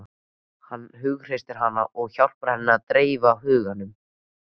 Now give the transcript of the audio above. Hann hughreystir hana og hjálpar henni að dreifa huganum.